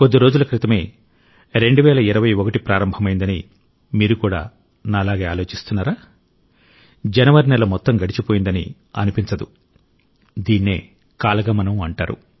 కొద్ది రోజుల క్రితమే 2021 ప్రారంభమైందని మీరు కూడా నాలాగే ఆలోచిస్తున్నారా జనవరి నెల మొత్తం గడిచిపోయిందని అనిపించదు దీన్నే కాల గమనం అంటారు